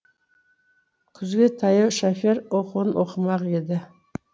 күзге таяу шофер оқуын оқымақ еді